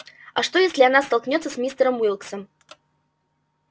а что если она столкнётся с мистером уилксом